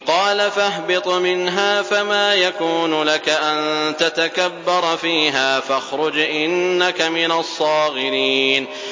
قَالَ فَاهْبِطْ مِنْهَا فَمَا يَكُونُ لَكَ أَن تَتَكَبَّرَ فِيهَا فَاخْرُجْ إِنَّكَ مِنَ الصَّاغِرِينَ